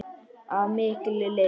Af mikilli lyst.